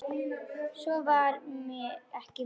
Svo var það ekki meir.